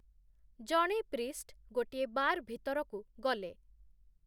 ଜଣେ ପ୍ରିଷ୍ଟ୍‌ ଗୋଟିଏ ବାର୍‌ ଭିତରକୁ ଗଲେ